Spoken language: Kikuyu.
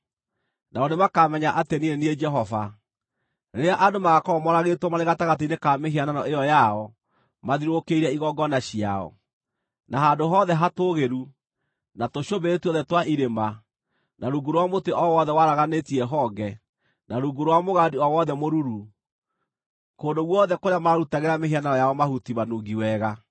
Nao nĩmakamenya atĩ niĩ nĩ niĩ Jehova, rĩrĩa andũ magaakorwo moragĩtwo marĩ gatagatĩ-inĩ ka mĩhianano ĩyo yao mathiũrũrũkĩirie igongona ciao, na handũ hothe hatũũgĩru, na tũcũmbĩrĩ tuothe twa irĩma, na rungu rwa mũtĩ o wothe waraganĩtie honge, na rungu rwa mũgandi o wothe mũruru, kũndũ guothe kũrĩa maarutagĩra mĩhianano yao mahuti manungi wega.